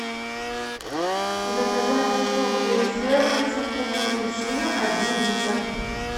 заказать сок джей сэвэн со вкусом апельсина один литр